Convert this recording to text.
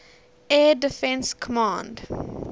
air defense command